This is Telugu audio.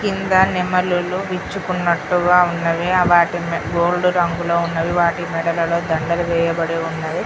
కింద నెమలీలు విచ్చుకున్నట్టుగా ఉన్నది వాటిని గోల్డ్ రంగులో ఉన్నవి వాటి మెడలలో దండలు వేయబడి ఉన్నవి